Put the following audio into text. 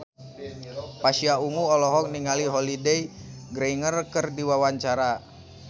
Pasha Ungu olohok ningali Holliday Grainger keur diwawancara